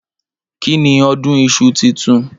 Kìní ọdún ìsú títùn?